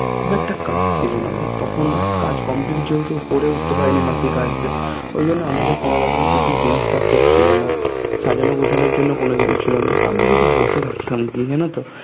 খুব একটা কাজ ছিলোনা তখন কাজ Complete যেহেতু করে উঠতে পারেনি বাকি কাজকে ঐ জন্য আমাদের কোনোরকম কিছু জিনিসপত্র ছিলোনা সাজানো গুছানোর জন্য কোনো জিনিস ছিলোনা আমরা শুধু বসে থাকতাম গিয়ে জানো তো